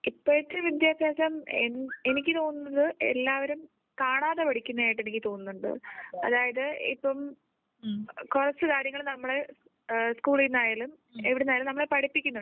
ഇപ്പോഴത്തെ വിദ്യാഭ്യാസം എനിക്ക് തോന്നുന്നത് എല്ലാവരും കാണാതെ പഠിക്കുന്നത് ആയിട്ട് എനിക്ക് തോന്നുന്നുണ്ട് അതായത് ഇപ്പം കുറച്ച് കാര്യങ്ങൾ നമ്മൾ സ് കൂളിൽ നിന്ന് ആയാലും എവിടുന്നായാലും നമ്മളെ പഠിപ്പിക്കുന്നുണ്ട്.